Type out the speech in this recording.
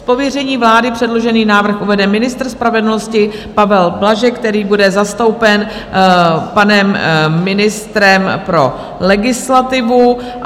Z pověření vlády předložený návrh uvede ministr spravedlnosti Pavel Blažek, který bude zastoupen panem ministrem pro legislativu.